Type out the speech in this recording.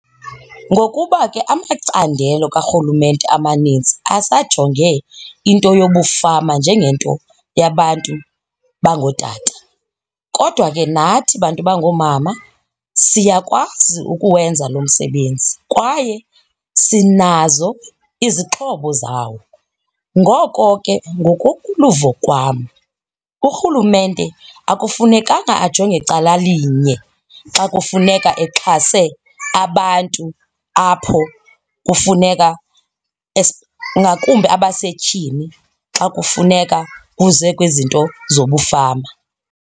Ngokuba ke amacandelo karhulumente amanintsi asajonge into yobufama njengento yabantu bangootata, kodwa ke nathi bantu bangoomama siyakwazi ukuwenza lo msebenzi kwaye sinazo izixhobo zawo. Ngoko ke ngokoluvo kwam, urhulumente akufunekanga ajonge calalinye xa kufuneka exhase abantu apho kufuneka ngakumbi abasetyhini xa kufuneka kuze kwizinto zobufama.